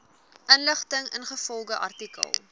inligting ingevolge artikel